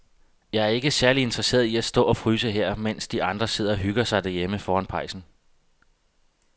Jeg er ikke særlig interesseret i at stå og fryse her, mens de andre sidder og hygger sig derhjemme foran pejsen.